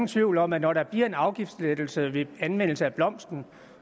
tvivl om at når der bliver en afgiftslettelse ved anvendelse af blomsten